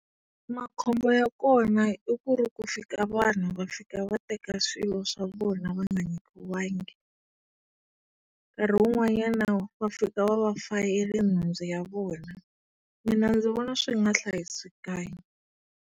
Makhombo ya kona i ku ri ku fika vanhu va fika va teka swilo swa vona va nga nyikiwangi. Nkahi wun'wanyana va fika va va fayele nhundzu ya vona. Mina ndzi vona swi nga hlayisekanga.